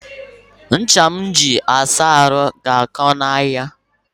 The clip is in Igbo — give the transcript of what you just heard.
Ncha m ji asa ahụ ga-akọ n'ahịa